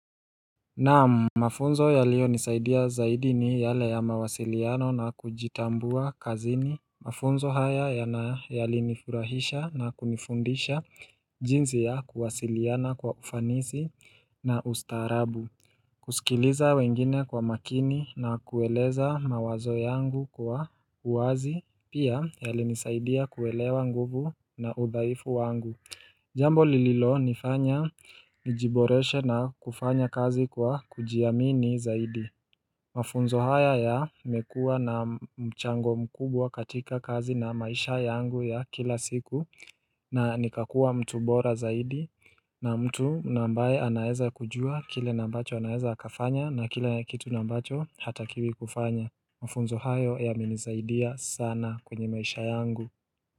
Naam, mafunzo yaliyonisaidia zaidi ni yale ya mawasiliano na kujitambua kazini Mafunzo haya yana yalinifurahisha na kunifundisha jinsi ya kuwasiliana kwa ufanisi na ustaarabu kusikiliza wengine kwa makini na kueleza mawazo yangu kwa uwazi pia yalinisaidia kuelewa nguvu na udhaifu wangu Jambo lililonifanya nijiboreshe na kufanya kazi kwa kujiamini zaidi Mafunzo haya yamekua na mchango mkubwa katika kazi na maisha yangu ya kila siku na nikakua mtu bora zaidi na mtu na ambaye anaeza kujua kile na ambacho anaeza akafanya na kile kitu na ambacho hatakiwi kufanya Mafunzo hayo yamenisaidia sana kwenye maisha yangu.